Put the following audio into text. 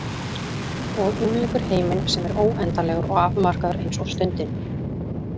Og umlykur heiminn sem er óendanlegur og afmarkaður eins og stundin.